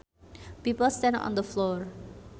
People stand on the floor